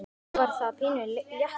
Þá var það pínu léttir.